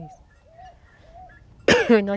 nós. Foi nós.